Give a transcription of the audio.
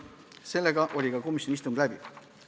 Sellega oli komisjoni istung läbi.